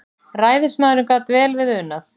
Ræðismaðurinn gat vel við unað.